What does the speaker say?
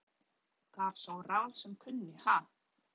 Gaf sá ráð sem kunni, ha!